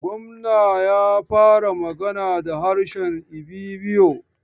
Gwamna ya fara magana da harshe Ibibio.